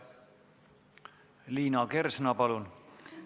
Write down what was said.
Liina Kersna, palun!